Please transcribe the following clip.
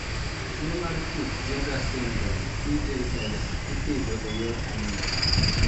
Tuwo mar Peutz Jeghers syndrome (PJS) ipidho e yor anyuola.